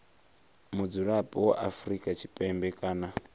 mudzulapo wa afrika tshipembe kana